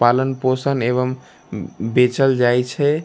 पालन पोषण एवं उम बेचल जाई छे।